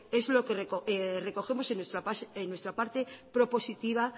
que recogemos en nuestra parte propositiva